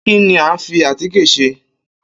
Kín ni a ń fi atíkè se?